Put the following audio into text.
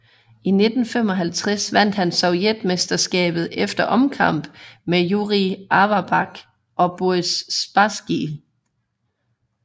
I 1955 vandt han sovjetmesterskabet efter omkamp med Jurij Averbakh og Boris Spasskij